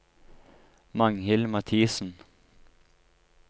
Magnhild Mathisen